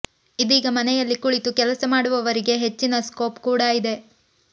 ಇದೀಗ ಮನೆಯಲ್ಲಿ ಕುಳಿತು ಕೆಲಸ ಮಾಡುವವರಿಗೆ ಹೆಚ್ಚಿನ ಸ್ಕೋಪ್ ಕೂಡಾ ಇದೆ